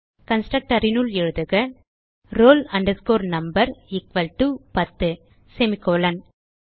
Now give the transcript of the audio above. constructorனுள் எழுதுக roll number equal to ten semicolon